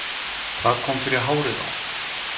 Hvað kom fyrir hárið á honum